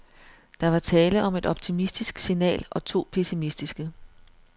Der var tale om et optimistisk signal og to pessimistiske.